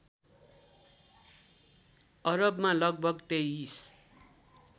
अरबमा लगभग २३